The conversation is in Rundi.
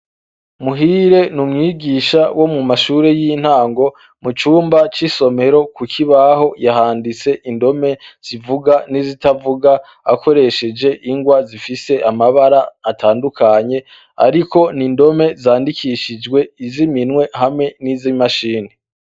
Muhire ni umwigisha wo mu mashure y'intango mucumba c'isomero ku kibaho yahanditse indome zivuga n'izitavuga akoresheje ingwa zifise amabara atandukanye, ariko ni indome zandikishijwe iziminwe hamwe n'izo imashini.